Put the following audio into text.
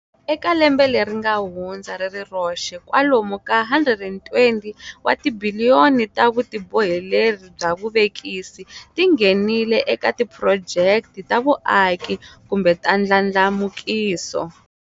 Eka lembe leri nga hundza ri ri roxe, kwalomu ka R120 wa tibiliyoni ta vutiboheleri bya vuvekisi ti nghenile eka tiphurojeke ta vuaki kumbe ta ndlandlamukiso.